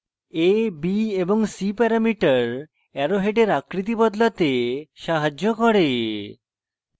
a b এবং c parameter arrow হেডের আকৃতি বদলাতে সাহায্য করে